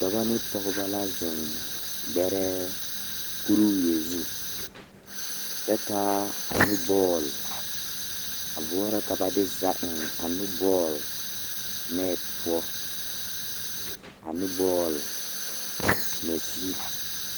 Dɔba ne pɔgeba la zeŋ gbɛrɛɛ kuriwie zu kyɛ taa a nubɔle a boɔrɔ ka ba de za eŋ a nu bɔle nɛte poɔ a nubɔle ŋmɛzie.